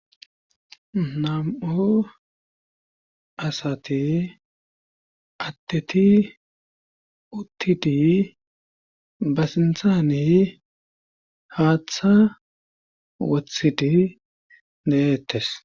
nam7o asati addeti uttidi ba sintaaniy haaththa wothidi deettes